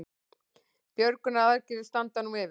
Björgunaraðgerðir standa nú yfir